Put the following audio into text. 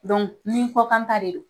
ni kɔkanta de don